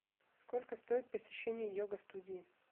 сколько стоит посещение йога студии